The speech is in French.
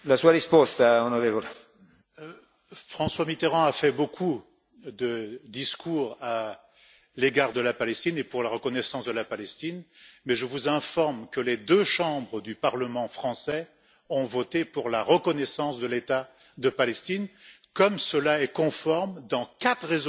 François Mitterrand a fait beaucoup de discours à l'égard de la Palestine et pour la reconnaissance de la Palestine, mais je vous informe que les deux chambres du Parlement français ont voté pour la reconnaissance de l'État de Palestine, comme cela est conforme dans quatre résolutions des Nations unies et